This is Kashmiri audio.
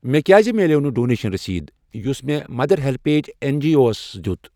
مےٚ کیٛازِ مِلٮ۪و نہٕ ڈونیشن رٔسیٖدٕ یُس مےٚ مَدر ہیٚلپیج این جی اووَس دِیُت؟